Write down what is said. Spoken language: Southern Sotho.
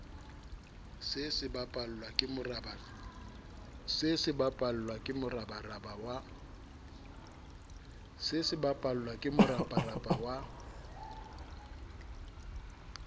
se sebapallwa ke moraparapa wa